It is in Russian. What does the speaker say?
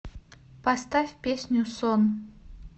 поставь песню сон